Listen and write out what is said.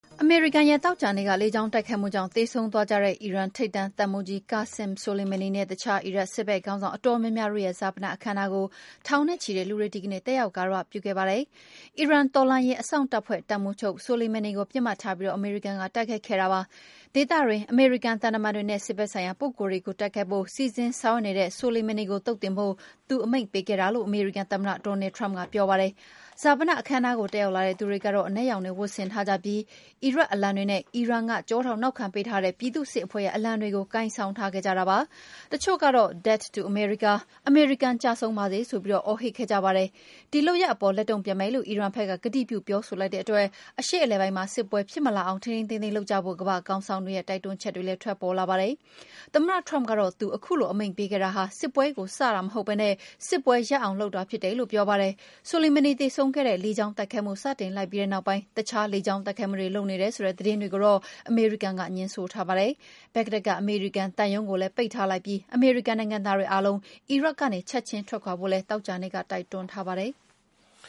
အမေရိကန်ရဲ့ သောကြာနေ့ လေကြောင်းတိုက်ခိုက်မှုကြောင့် သေဆုံးသွားကြတဲ့ အီရန်ထိပ်တန်း တပ်မှူးကြီး Qassem Soleimani နဲ့ အခြား အီရတ်စစ်ဘက်ခေါင်းဆောင် အတော်များများတို့ရဲ့ ဈာပနအခမ်းအနားကို ထောင်နဲ့ချီတဲ့လူတွေ ဒီကနေ့ တက်ရောက် ဂါရဝပြုခဲ့ကြပါတယ်။ အီရန်တော်လှန်ရေးအစောင့်တပ်ဖွဲ့ တပ်မှူးချုပ် Soleimani ကို ပစ်မှတ်ထားပြီး အမေရိကန်က တိုက်ခိုက်ခဲ့တာပါ။ ဒေသတွင်း အမေရိကန် သံတမန်တွေနဲ့ စစ်ဘက်ဆိုင်ရာ ပုဂ္ဂိုလ်တွေကို တိုက်ခိုက်ဖို့ စီစဉ်ဆောင်ရွက်နေတဲ့ Soleimani ကို သုတ်သင်ဖို့ သူအမိန့်ပေးခဲ့တာလို့ အမေရိကန်သမ္မတ Donald Trump က ပြောပါတယ်။ ဈာပနအခမ်းအနားကို တက်ရောက်လာတဲ့သူတွေက အနက်ရောင်တွေ ဝတ်ဆင်ထားကြပြီး အီရတ်အလံတွေနဲ့ အီရန်က ကျောထောက်နောက်ခံ ပေးထားတဲ့ ပြည်သူ့စစ်အဖဲ့ွရဲ့ အလံတွေကို ကိုင်ဆောင်ထားကြတာပါ။ တချို့ကတော့ “Death to America” အမေရိကန် ကျဆုံးပါစေဆိုပြီး အော်ဟစ်ခဲ့ကြပါတယ်။ ဒီလုပ်ရပ်အပေါ် လက်တုံ့ပြန်မယ်လို့ အီရန်ဘက်က ကတိပြု ပြောဆိုလိုက်တဲ့အတွက် အရှေ့အလယ်ပိုင်းမှာ စစ်ပွဲဖြစ်မလာအောင် ထိန်းထိန်းသိမ်းသိမ်း လုပ်ကြဖို့ ကမ္ဘာ့ခေါင်းဆောင်တွေရဲ့ တိုက်တွန်းချက်တွေ ထွက်ပေါ်လာပါတယ်။ သမ္မတ Trump ကတော့ သူ ခုလို အမိန့်ပေးခဲ့တာဟာ စစ်ပွဲကိုစဖို့မဟုတ်ဘဲ စစ်ပွဲရပ်အောင်လုပ်တာ ဖြစ်တယ်လို့ ပြောပါတယ်။ Soleimani သေဆုံးစေခဲ့တဲ့ လေကြောင်းတိုက်ခိုက်မှု စတင်လိုက်ပြီးတဲ့ နောက်ပိုင်း အခြား လေကြောင်းတိုက်ခိုက်မှုတွေ လုပ်နေတယ်ဆိုတဲ့ သတင်းတွေကိုတော့ အမေရိကန်က ငြင်းဆိုထားပါတယ်။ ဘဂ္ဂဒက်က အမေရိကန်သံရုံးကိုလည်း ပိတ်ထားလိုက်ပြီး အမေရိကန် နိုင်ငံသားတွေအားလုံး အီရတ်ကနေ ချက်ချင်းထွက်ခွာဖို့လည်း သောကြာနေ့က တိုက်တွန်းထားပါတယ်။